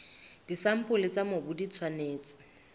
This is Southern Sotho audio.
disampole tsa mobu di tshwanetse